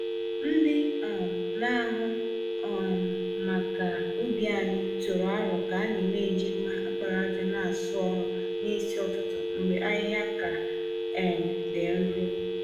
Ndị um na-ahụ um maka ubi anyị tụrụ aro ka anyị n'eji mma àkpàràjà n'asụ ọrụ n'isi ụtụtụ mgbe ahịhịa ka um dị nro.